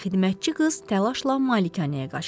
Deyə xidmətçi qız təlaşla malikanəyə qaçdı.